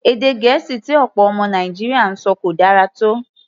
Èdè Gẹ̀ẹ́sì tí ọ̀pọ̀ ọmọ Nàìjíríà ń sọ kò dára tó.